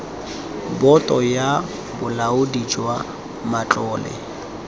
boto ya bolaodi jwa matlole